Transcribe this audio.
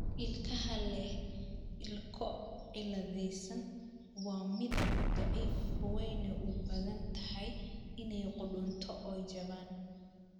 Ilkaha leh ilko cilladaysan waa midab, daciif, waxayna u badan tahay inay qudhunto oo jabaan.